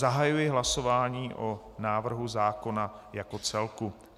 Zahajuji hlasování o návrhu zákona jako celku.